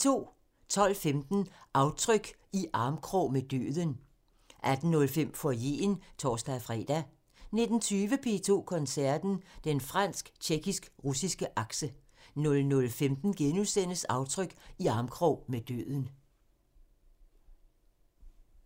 12:15: Aftryk – I armkrog med døden 18:05: Foyeren (tor-fre) 19:20: P2 Koncerten – Den fransk-tjekkisk-russiske akse 00:15: Aftryk – I armkrog med døden *